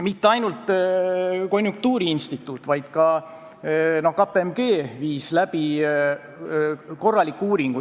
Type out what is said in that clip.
Mitte ainult konjunktuuriinstituut, vaid ka KPMG viis läbi korraliku uuringu.